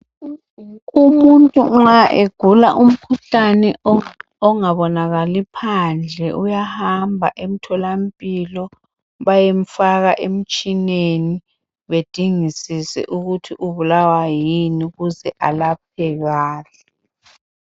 Umuntu nxa egula umkhuhlane ongabonakali phandle, uyahamba emtholampilo bayemfaka emtshineni bedingisise ukuthi ubulawa yini ukuze alaphekale.